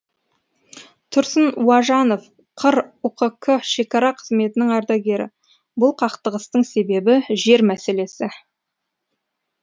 тұрсын уажанов қр ұқк шекара қызметінің ардагері бұл қақтығыстың себебі жер мәселесі